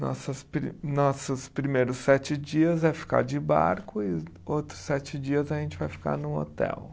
Nossas pri, nossos primeiros sete dias é ficar de barco e outros sete dias a gente vai ficar num hotel.